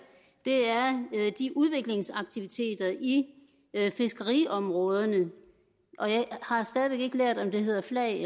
er udviklingsaktiviteterne i fiskeriområderne og jeg har stadig væk ikke helt lært at det hedder flag